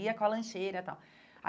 Ia com a lancheira e tal.